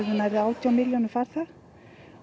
verði átján milljónir farþega